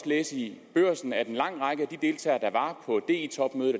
læse i børsen at en lang række deltagere